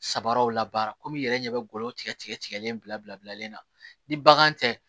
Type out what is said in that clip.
Sabaraw labaara komi i yɛrɛ ɲɛ bɛ glɔw tigɛ tigɛlen bila bila bilalen na ni bagan tɛ